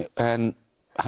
en